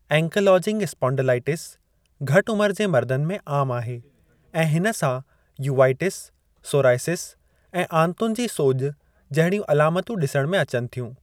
Ankylosing spondylitis घटि उमिरि जे मर्दनि में आमु आहे ऐं हिन सां यूवाइटिस, सोरायसिस ऐं आंतुनि जी सोॼि जहिड़ियूं अलामतूं डिसण में अचनि थियूं।